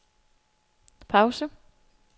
pause